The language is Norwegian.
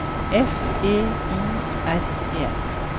F E I R E